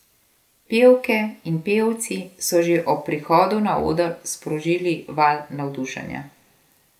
Pevke in pevci so že ob prihodu na oder sprožili val navdušenja.